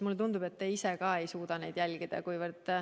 Mulle tundub, et ka te ise ei suuda neid jälgida.